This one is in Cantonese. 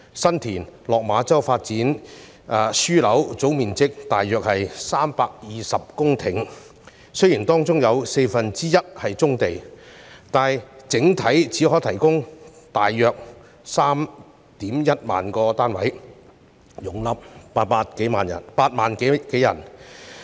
新田/落馬洲發展樞紐的總面積約為320公頃，雖然當中有四分之一是棕地，但整體只能提供約 31,000 個單位，容納8萬多人。